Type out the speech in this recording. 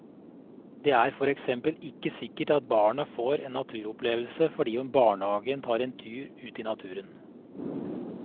Det er for eksempel ikke sikkert at barna får en naturopplevelse fordi om barnehagen tar en tur ut i naturen.